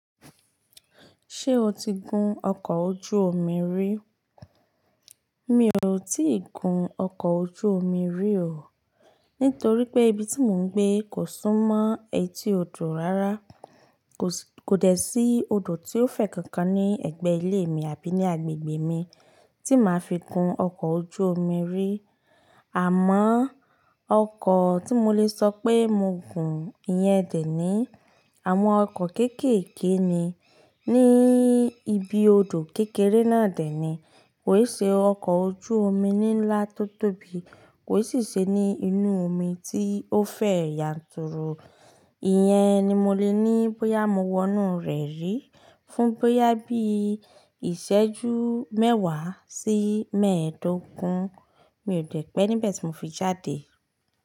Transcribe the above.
Ṣé o ti gun ọkọ̀ ojú omi rí? Mi ò tí ì gun ọkọ̀ ojú omi rí o. Nítorí pé ibi tí mò ń gbé kò sún mọ́ etí odò rárá. Kò dẹ̀ sí odò tí ó fẹ̀ kankan ní ẹ̀gbẹ́ ilé mi àbí ní agbègbè mi tí màá fi gun ọkọ̀ ojú omi rí. Àmọ́ ọkọ̀ tí mo lè sọ pé mo gun, ìyẹn dẹ̀ ni àwọn ọkọ̀ kéékèèké ni ní ibi odò kékeré náà dẹ̀ ni. Kò ì ṣe ọkọ̀ ojú omi ní ńlá tó tóbi, kò i sì ṣe ní inú omi tí ó fẹ̀ yanturu. Ìyẹn ni mo lè ní bóyá mo wọnú rẹ̀ rí fún bóyá bí ìṣẹ́jú mẹ́wàá sí mẹ́ẹ̀dógún. Mi ò dẹ́ pẹ́ níbẹ̀ tí mò fi jáde.